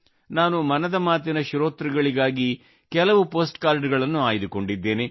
ನಾನು ಮನದ ಮಾತಿನ ಶ್ರೋತೃಗಳಿಗಾಗಿ ಕೆಲವು ಪೋಸ್ಟ್ ಕಾರ್ಡ ಗಳನ್ನು ಆಯ್ದುಕೊಂಡಿದ್ದೇನೆ